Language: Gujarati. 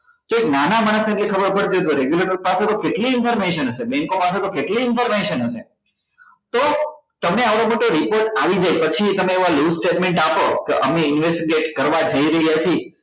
કે નાના માણસ ને કઈ ખબર પડતી હોય તો regulator પાસે તો કેટલી information હશે bank ઓ પાસે તો કેટલી information હશે તો તમે આવડો મોટો report જાય પછી તમે એવા loose statement આપો કે અમે investigate કરવા જઈ રહ્યા છીએ